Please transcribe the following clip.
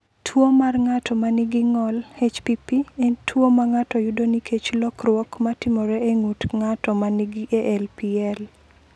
"Tuwo mar ng’ato ma nigi ng’ol (HPP) en tuwo ma ng’ato yudo nikech lokruok ma timore e ng’ut ng’ato ma nigi ALPL."